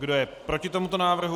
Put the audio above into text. Kdo je proti tomuto návrhu?